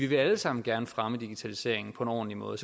vil alle sammen gerne fremme digitaliseringen på en ordentlig måde